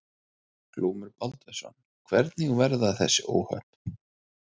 Glúmur Baldvinsson: Hvernig verða þessi óhöpp?